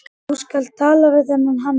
Þú skalt tala við þennan Hannes.